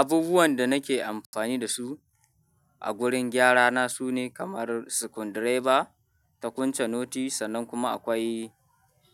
Abubuwanda nake amfani dasu a gurin gyarana sune kamar screwdriver, takunca noti, sannan kuma akwai